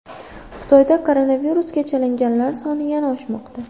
Xitoyda koronavirusga chalinganlar soni yana oshmoqda.